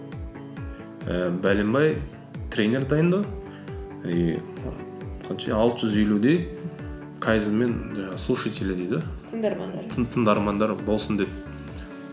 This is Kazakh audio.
ііі тренер дайындау и алты жүз елудей кайдзенмен слушатели дейді тыңдармандар тыңдармандар болсын деп